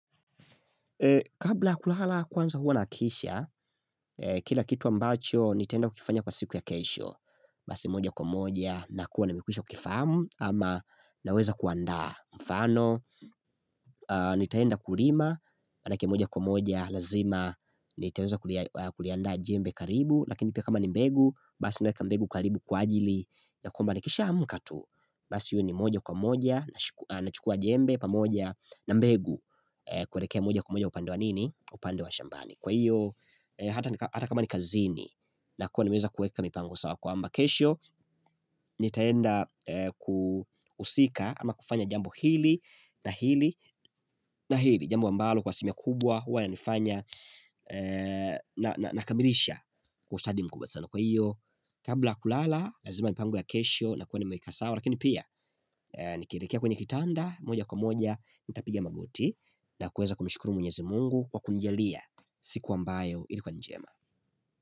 Kabla ya kulala kwanza huwa nahakikisha, kila kitu ambacho nitaenda kukifanya kwa siku ya kesho Basi moja kwa moja na kuwa namikwisha kukifahamu ama naweza kuanda mfano Nitaenda kulima, maanake moja kwa moja lazima, nitaeza kuliandaa jembe karibu Lakini pia kama ni mbegu, basi naweka mbegu karibu kwa ajili ya kwamba nikishaa amka tu, basi iwe ni moja kwa moja nachukua jembe pamoja na mbegu kuelekea moja kwa moja upande wa nini upande wa shambani Kwa hiyo hata kama ni kazini na kuwa nimeweza kuweka mipango sawa kwamba kesho Nitaenda kuhusika ama kufanya jambo hili na hili na hili Jambo ambalo kwa asilimia kubwa huwa inanifanya Nakamilisha kwa ustadi mkubwa sana Kwa hiyo kabla ya kulala Lazima mipango ya kesho na kuwa nimeweka sawa Lakini pia nikielekea kwenye kitanda moja kwa moja nitapiga magoti na kuweza kumshukuru mwenyezi Mungu kwa kunijalia siku ambayo ilikuwa ni njema.